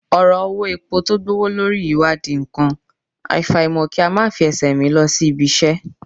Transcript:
Ọ̀rọ̀ owó epo tó gbówó lórí yìí wá di nǹkan, àfàìmọ̀ kí a máa fi ẹsẹ̀ rìn lọ sí ibi-iṣẹ́